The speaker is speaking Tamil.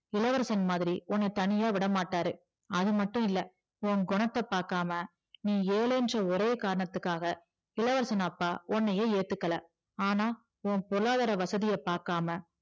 இளவரசன் மாதிரி உன்ன தனியா விடமாட்டாரு அது மட்டும் இல்ல உன்குனத்த பாக்காம நீ ஏழைன்ர ஒரே காரணத்துக்காக இளவரசன் அப்பா உன்னைய ஏத்துக்கல ஆனா உன்பொருளாதார வசதிய பாக்காம